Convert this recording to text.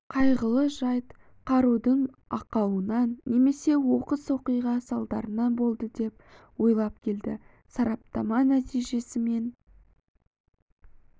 қайғылы жайт қарудың ақауынан немесе оқыс оқиға салдарынан болды деп ойлап келді сараптама нәтижесі мен